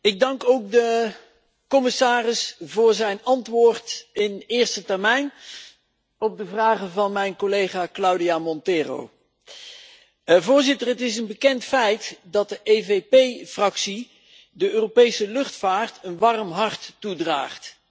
Ik dank ook de commissaris voor zijn antwoord in eerste termijn op de vragen van mijn collega Cláudia Monteiro. Voorzitter, het is een bekend feit dat de EVP Fractie de Europese luchtvaart een warm hart toedraagt.